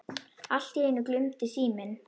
Allt í einu glumdi síminn.